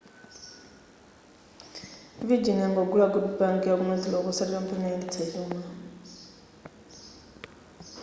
virgin yangogula good bank' yaku north rock osati kampani yoyendetsa chuma